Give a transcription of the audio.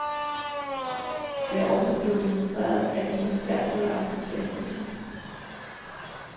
Det er også blevet demonstreret, at de har svært ved at acceptere kritik.